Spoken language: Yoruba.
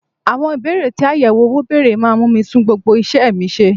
Àwọn Ìbéèrè tí àyẹ̀wò owó bèrè máa mú mi tún gbogbo isẹ mi ṣe.